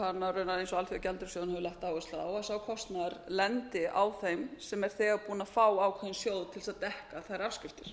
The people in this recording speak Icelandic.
alþjóðagjaldeyrissjóðurinn hefur lagt áherslu á að sá kostnaður lendi á þeim sem er þegar búinn að fá ákveðinn sjóð til þess að dekka þær afskriftir